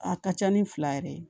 A ka ca ni fila yɛrɛ ye